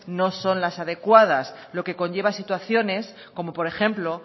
no son las adecuadas lo que conlleva situaciones como por ejemplo